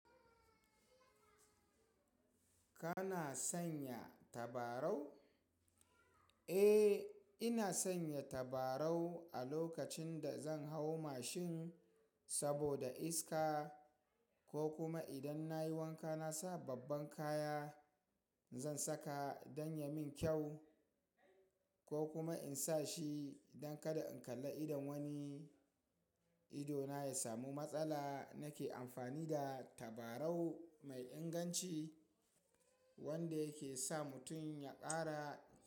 Kana sanya tabarau? Eh, ina sanya tabarau a lokacin da zan hau mashin saboda iska, ko kuma idan nayi wanka nasa babban kaya zan saka don ya min kyau ko kuma insa shi don kada in kalla idon wani. Idona ya samu matsala nake amfani da tabarau mai inganci wanda yake sa mutum ya kara.